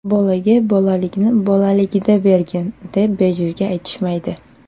Bolaga bolaligini bolaligida bergin, deb bejizga aytishmaydi.